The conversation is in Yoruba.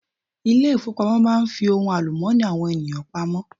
Ilé ìfowópamọ́ máa n fi ohun àlùmọ́ọ́nì àwọn ènìyàn pamọ́